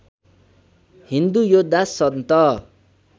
हिन्दू योद्धा सन्त